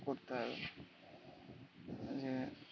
করতে হবে উম